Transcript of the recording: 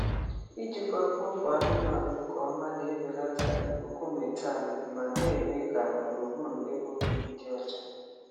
Ijikwa mkpofu anụmanụ nke ọma na-ebelata ikuku methane ma na-eme ka gburugburu ebe obibi dị ọcha.